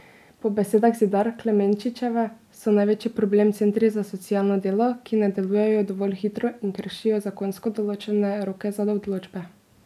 Po besedah Zidar Klemenčičeve so največji problem centri za socialno delo, ki ne delujejo dovolj hitro in kršijo zakonsko določene roke za odločbe.